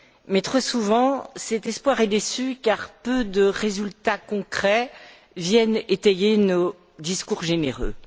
Mais trop souvent cet espoir est déçu car peu de résultats concrets viennent étayer nos discours généreux.